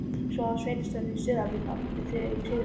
Svo að sveitarstjórinn í Súðavík átti þátt í sigrinum?